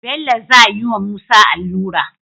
Bello zayi wa musa alura